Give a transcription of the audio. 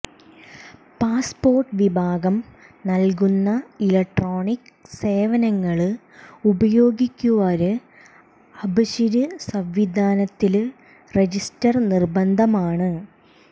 passport വിഭാഗം നല്കുന്ന electronic സേവനങ്ങള് ഉപയോഗിക്കുവാര് അബ്ശിര് സംവിധാനത്തില് റജിസ്റ്റര് നിര്ബന്ധമാണ്